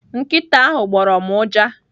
Nkịta ahụ gbọrọ m ụja.